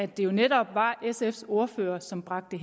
det jo netop var sfs ordfører som bragte